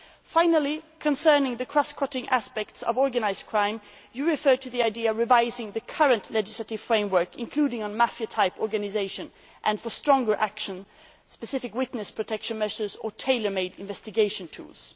money. Finally, concerning the cross cutting aspects of organised crime, you refer to the idea of revising the current legislative framework, including mafia type organisations, and for stronger action, specific witness protection measures or tailor made investigation